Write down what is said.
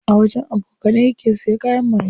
A wajen abokanai yake siya kayan maye.